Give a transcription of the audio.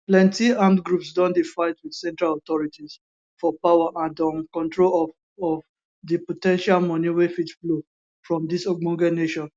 plenti armed groups don dey fight wit central authorities for power and um control of of di po ten tial money wey fit flow from dis ogbonge nation